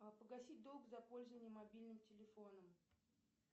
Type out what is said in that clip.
погасить долг за пользование мобильным телефоном